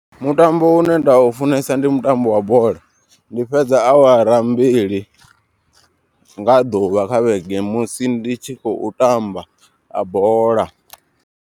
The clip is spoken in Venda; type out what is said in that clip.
Mutambo une nda u funesa ndi mutambo wa bola. Ndi fhedza awara mbili nga ḓuvha kha vhege musi ndi tshi khou tamba a bola.